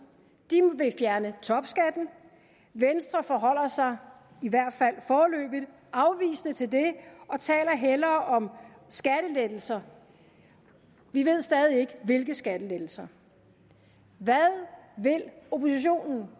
vil fjerne topskatten venstre forholder sig i hvert fald foreløbig afvisende til det og taler hellere om skattelettelser vi ved stadig ikke hvilke skattelettelser hvad vil oppositionen